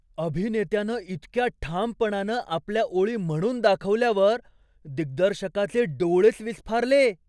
अभिनेत्यानं इतक्या ठामपणानं आपल्या ओळी म्हणून दाखवल्यावर दिग्दर्शकाचे डोळेच विस्फारले!